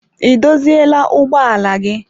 Ị dozila ụgbọ ala gị?